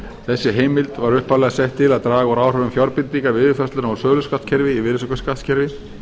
þessi heimild var upphaflega sett til að draga úr áhrifum fjárbindinga við yfirfærsluna á söluskattskerfi í virðisaukaskattskerfi